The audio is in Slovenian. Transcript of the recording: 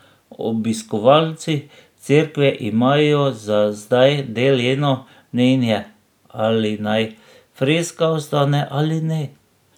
Obiskovalci cerkve imajo za zdaj deljeno mnenje, ali naj freska ostane ali ne.